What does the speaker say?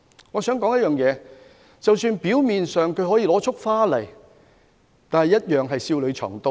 我想指出一點，就是即使他表面上是拿着一束花走過來，但同樣會笑裏藏刀。